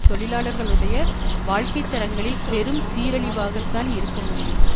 தொழிலாளர்களுடைய வாழ்க்கை தரங்களில் பெரும் சீரழிவாகத்தான் இருக்க முடியும்